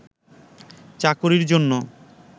চাকরির জন্য